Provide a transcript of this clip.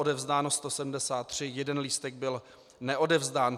Odevzdáno 173, jeden lístek byl neodevzdán.